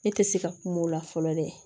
Ne tɛ se ka kuma o la fɔlɔ dɛ